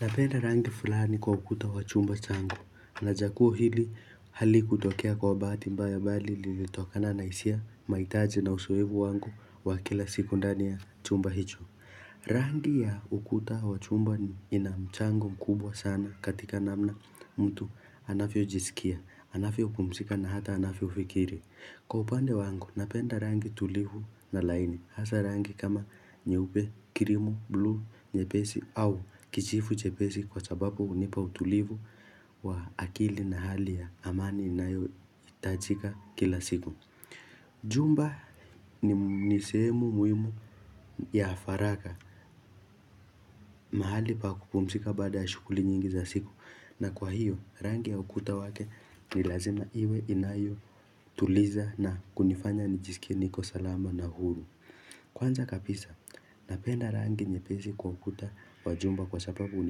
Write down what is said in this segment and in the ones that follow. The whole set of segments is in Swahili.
Napenda rangi fulani kwa ukuta wa chumba changu na chaguo hili halikutokea kwa bahati mbaya bali lilitokana na hisia mahitaji na uzoefu wangu wa kila siku ndani ya chumba hicho. Rangi ya ukuta wa chumba ina mchango mkubwa sana katika namna mtu anavyojisikia, anavyopumzika na hata anavyofikiri. Kwa upande wangu, napenda rangi tulivu na laini, hasa rangi kama nyeupe, krimu, buluu, nyepesi au kijivu chepesi kwa sababu hunipa utulivu wa akili na hali ya amani inayohitajika kila siku. Jumba ni sehemu muhimu ya faraka, mahali pa kupumzika baada ya shughuli nyingi za siku. Na kwa hiyo rangi ya ukuta wake ni lazima iwe inayotuliza na kunifanya nijisikie niko salama na huru Kwanza kabisa napenda rangi nyepesi kwa ukuta wa chumba kwa sababu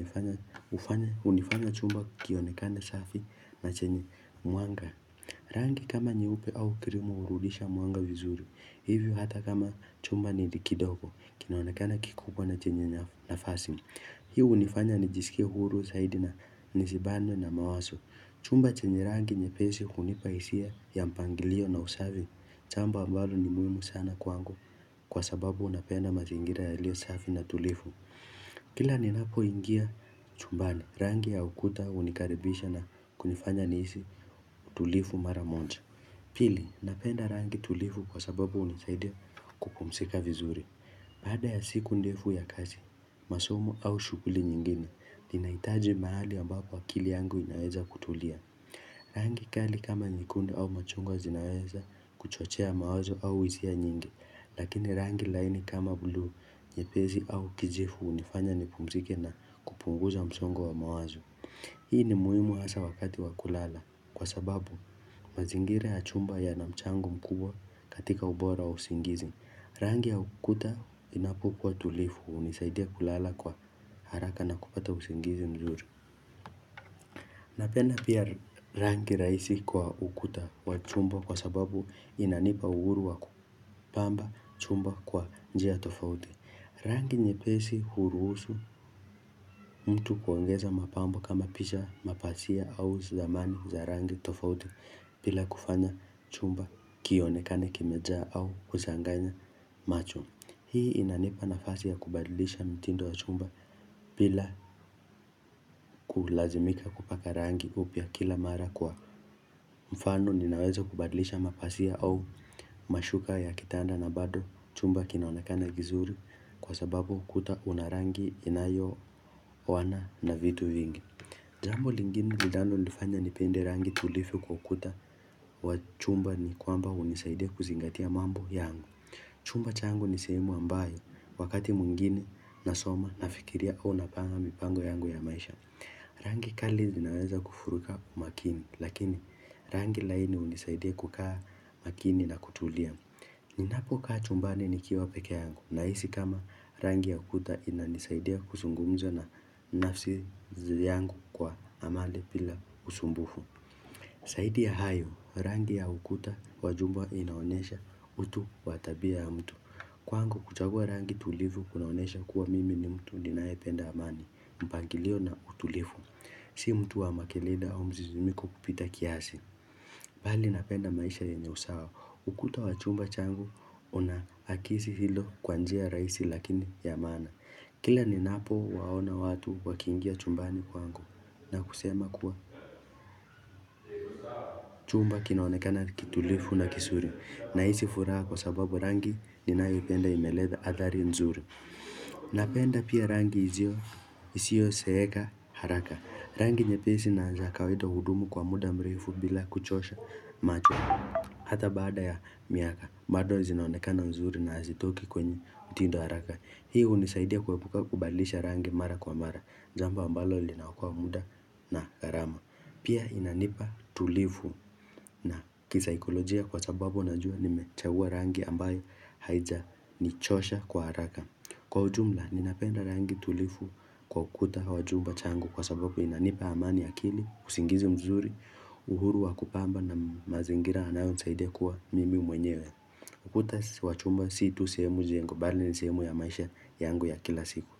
hunifanya chumba kionekane safi na chenye mwanga rangi kama nyeupe au krimu hurudisha mwanga vizuri Hivyo hata kama chumba ni li kidoko kinaonekana kikubwa na chenye nafasi Hii hunifanya nijisikie huru zaidi na nisibanwe na mawazo. Chumba chenye rangi nyepesi hunipa hisia ya mpangilio na usafi. Jambo ambalo ni muhimu sana kwangu kwa sababu napenda mazingira yaliyo safi na tulivu. Kila ninapoingia chumbani rangi ya ukuta hunikaribisha na kunifanya nihisi tulivu mara moja. Pili, napenda rangi tulivu kwa sababu hunisaidia kupumzika vizuri. Baada ya siku ndefu ya kazi, masomo au shughuli nyingine, ninahitaji mahali ambapo akili yangu inaweza kutulia. Rangi kali kama nyekundu au machungwa zinaweza kuchochea mawazo au hisia nyingi, lakini rangi laini kama buluu, nyepesi au kijivu hunifanya nipumzike na kupunguza msongo wa mawazo. Hii ni muhimu hasa wakati wa kulala kwa sababu mazingira ya chumba yana mchango mkubwa katika ubora wa usingizi. Rangi ya ukuta inapokuwa tulivu hunisaidia kulala kwa haraka na kupata usingizi mzuri. Napenda pia rangi rahisi kwa ukuta wa chumba kwa sababu inanipa uhuru wa kupamba chumba kwa njia tofauti. Rangi nyepesi huruhusu mtu kuongeza mapambo kama picha mapasia au zidamani za rangi tofauti bila kufanya chumba kionekane kimejaa au kuchanganya macho Hii inanipa nafasi ya kubadilisha mitindo ya chumba bila kulazimika kupaka rangi upya kila mara kwa mfano Ninaweza kubadilisha mapasia au mashuka ya kitanda na bado chumba kinaonekana kizuri Kwa sababu kuta una rangi inayooana na vitu vingi Jambo lingine linalonifanya nipende rangi tulivu kwa ukuta wa chumba ni kwamba hunisaidia kuzingatia mambo yangu Chumba changu ni sehemu ambayo Wakati mwingine nasoma nafikiria au napanga mipango yangu ya maisha Rangi kali zinaweza kufuruka makini Lakini rangi laini hunisaidia kukaa makini na kutulia Ninapokaa chumbani nikiwa pekee yangu Nahisi kama rangi ya ukuta inanisaidia kuzungumza na nafsi yangu kwa amani bila usumbufu Zaidi ya hayo rangi ya ukuta wa jumba inaonyesha utu wa tabia ya mtu Kwangu kuchagua rangi tulivu kunaonesha kuwa mimi ni mtu ninayependa amani mpangilio na utulivu Si mtu wa makele au mzizimiko kupita kiasi Bali napenda maisha yenye usawa. Ukuta wa chumba changu, unaakisi hilo kwa njia rahisi lakini ya maana. Kila ninapo waona watu wakiingia chumbani kwangu. Na kusema kuwa chumba kinaonekana kitulivu na kizuri. Nahisi furaha kwa sababu rangi ninayoipenda imeleta athari nzuri. Napenda pia rangi isio zeeka haraka. Rangi nyepesi na za kawaida hudumu kwa muda mrefu bila kuchosha macho. Hata baada ya miaka, bado zinaonekana mzuri na hazitoki kwenye mtindo haraka. Hii hunisaidia kubalisha rangi mara kwa mara, jamba ambalo linaokoa muda na harama. Pia inanipa tulivu na kisaikolojia kwa sababu najua nimechagua rangi ambayo haijanichosha kwa haraka. Kwa ujumla, ninapenda rangi tulivu kwa ukuta wa chumba changu kwa sababu inanipa amani ya akili, usingizi mzuri, uhuru wa kupamba na mazingira yanayonisaidia kuwa mimi mwenyewe. Ukuta wa chumba si tu sehemu jengo, bali ni sehemu ya maisha yangu ya kila siku.